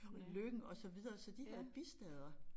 Lyng og så videre så de havde bistader